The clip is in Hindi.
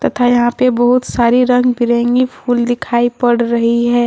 तथा यहां पर बहुत सारी रंग बिरंगी फूल दिखाई पड़ रही है।